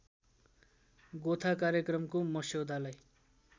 गोथा कार्यक्रमको मस्यौदालाई